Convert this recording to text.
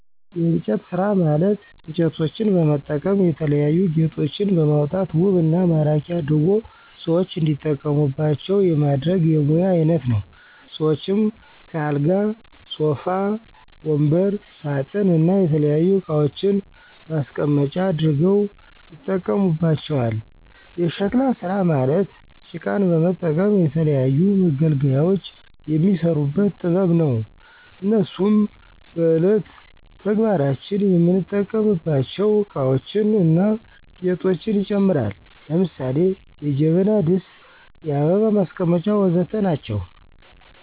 የእንጨት ስራ ማለት እንጨቶችን በመጠቀም የተለያዩ ጌጦችን በማውጣት ውብ እና ማራኪ አድርጎ ሰዎች እንዲጠቀሙባቸው የማድረግ የሙያ አይነት ነው። ሰዎችም ከአልጋ ሶፋ ወንበር ሳጥን እና የተለያዩ እቃዋችን ማስቀመጫ አድርገው ያጠቀሙባቸዋል። የሸክላ ስራ ማለት ጭቃን በመጠቀም ለተለያዩ መገልገያዎች የሚሰሩበት ጥበብ ነው። እነሱም በእየለት ተግባራችን የምንጠቀምባቸው እቃዎችን እና ጌጦችን ይጨምራል። ለምሳሌ ጀበና ድስት የአበባ ማስቀመጫ ወዘተ ናቸው